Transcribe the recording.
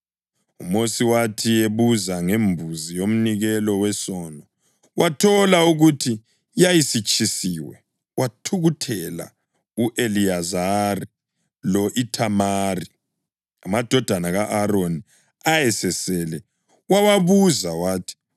UMosi wathi ebuza ngembuzi yomnikelo wesono wathola ukuthi yayisitshisiwe, wathukuthelela u-Eliyazari lo-Ithamari, amadodana ka-Aroni ayesesele, wawabuza wathi,